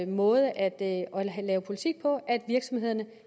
måde at lave politik på at virksomhederne